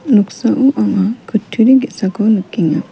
noksao anga kutturi ge·sako nikenga.